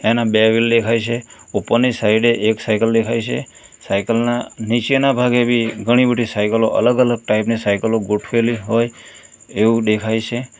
એના બે વ્હીલ દેખાય છે ઉપરની સાઈડે એક સાઇકલ દેખાય છે સાયકલ ના નીચેના ભાગે બી ઘણી બધી સાયકલો અલગ અલગ ટાઈપ ની સાયકલો ગોઠવેલી હોય એવું દેખાય છે.